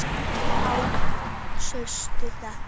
Páll: Sástu þetta?